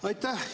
Aitäh!